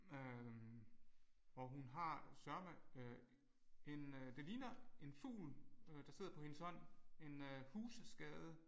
Øh og hun har sørme øh en øh det ligner en fugl der sidder på hendes hånd en øh husskade